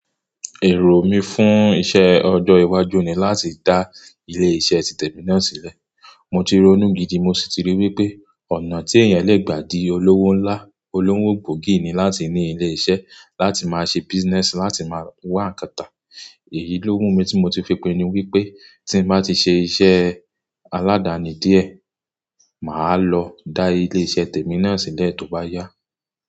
Èrò mi fún iṣẹ́ ọjọ́ iwájú ni láti dá ilé-iṣẹ́ tí tèmi náà sílẹ̀. Mo ti ronú gidi mo sì ti rí wípé ọ̀nà tí èèyàn lè gbà di olówó ńlá olówó gbógì ni láti ní ilé iṣẹ́ láti máa ṣe business láti máa wá ǹkan tà. Èyí ló wù mí tí mo ti fi pinú wípé tí n bá ti ṣe iṣẹ́ aládani díẹ̀, màá lọ dá ilé-iṣẹ́ tèmi náà sílẹ̀ tó bá yá.